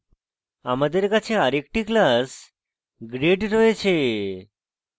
আমাদের কাছে আরেকটি class grade রয়েছে